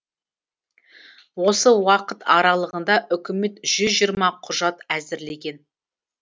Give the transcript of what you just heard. осы уақыт аралығында үкімет жүз жиырма құжат әзірлеген